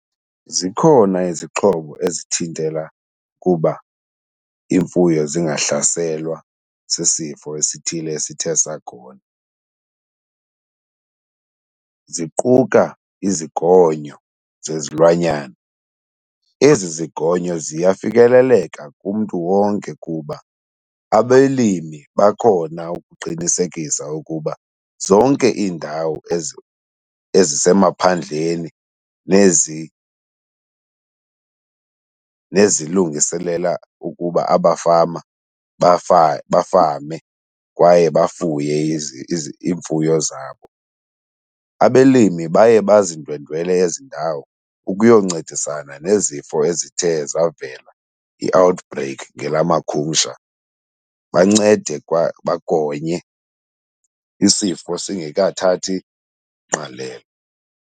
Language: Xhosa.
Zikhona izixhobo ezithintela kuba imfuyo zingahlaselwa sisifo esithile esithe sakhona, ziquka izigonyo zezilwanyana. Ezi izigonyo ziyafikeleleka kumntu wonke kuba abelimi bakhona ukuqinisekisa ukuba zonke iindawo ezisemaphandleni nezilungiselela ukuba abafama bafame kwaye bafuye iimfuyo zabo. Abelimi baye bazindwendwele ezi ndawo ukuyo ncedisana nezifo ezithe zavela, i-outbreak ngelamakhumsha, bancede kwa bagonye isifo singekathathi ngqalelo.